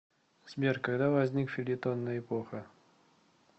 сбер когда возник фельетонная эпоха